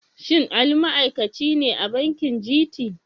Shin Ali ma'aikaci ne a bankin GT?